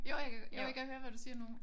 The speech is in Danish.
Jo jeg jo jeg kan høre hvad du siger nu